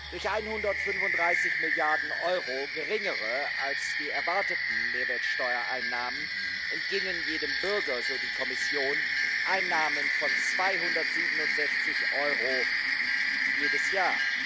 Durch 135 Milliarden Euro geringere als die erwarteten Mehrwertsteuereinnahmen entgingen jedem Bürger so die Kommission Einnahmen von 267 Euro jedes Jahr.